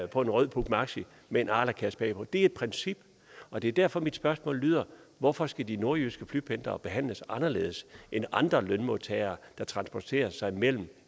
på en rød puch maxi med en arlakasse bag på det er et princip og det er derfor mit spørgsmål lyder hvorfor skal de nordjyske flypendlere behandles anderledes end andre lønmodtagere der transporterer sig mellem